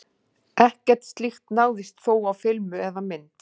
Ekkert slíkt náðist þó á filmu eða mynd.